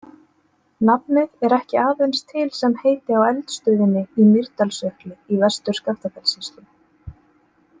Nafnið er ekki aðeins til sem heiti á eldstöðinni í Mýrdalsjökli í Vestur-Skaftafellssýslu.